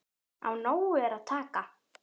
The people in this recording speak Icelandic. Af nógu er að taka.